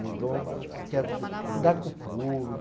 Meu dom, eu quero de lidar com o público.